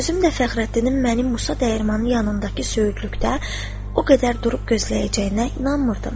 Özüm də Fəxrəddinin mənim Musa dəyirmanı yanındakı söyüdlükdə o qədər durub gözləyəcəyinə inanmırdım.